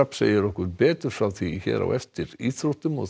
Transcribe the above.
segir okkur betur frá því hér á eftir íþróttum